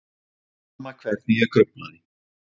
Sama hvernig ég gruflaði.